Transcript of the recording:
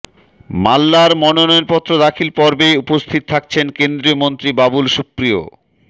মাল্লার মনোনয়নপত্ৰ দাখিল পর্বে উপস্থিত থাকছেন কেন্দ্ৰীয় মন্ত্ৰী বাবুল সুপ্ৰিয়